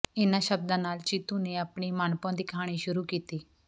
ਇਨ੍ਹਾਂ ਸ਼ਬਦਾਂ ਨਾਲ ਚਿੰਤੂ ਨੇ ਆਪਣੀ ਮਨਭਾਉਂਦੀ ਕਹਾਣੀ ਸ਼ੁਰੂ ਕੀਤੀ